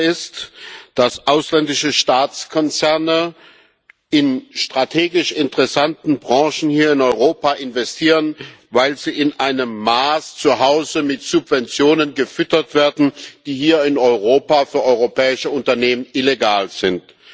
Tatsache ist, dass ausländische Staatskonzerne in strategisch interessanten Branchen hier in Europa investieren, weil sie zu Hause in einem Maß mit Subventionen gefüttert werden, die hier in Europa für europäische Unternehmen illegal sind.